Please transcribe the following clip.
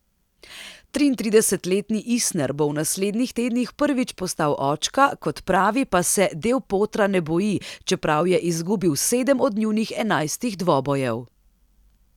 Triintridesetletni Isner bo v naslednjih tednih prvič postal očka, kot pravi, pa se del Potra ne boji, čeprav je izgubil sedem od njunih enajstih dvobojev.